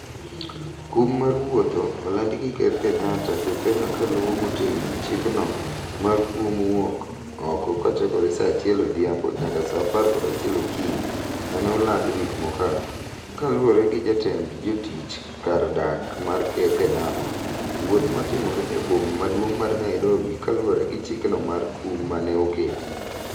Kum mar wuotho olandi gi Ker Kenyatta jokenya ka luwo motegno chikno ma kuom wuok oko kochakore saa achiel odhiambo nyaka saa apar kod achiel okinyi mane oland wik mokalo, kaluore gi jatend jotich kar dak mar Ker Kenyatta, wuoth matimore e boma maduong' mar Nairobi kaluore gi chikno mar kum mane oketi.